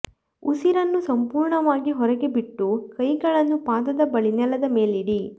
ಉಸಿರನ್ನು ಸಂಪೂರ್ಣವಾಗಿ ಹೊರಗೆ ಬಿಟ್ಟು ಕೈಗಳನ್ನು ಪಾದದ ಬಳಿ ನೆಲದ ಮೇಲಿಡಿ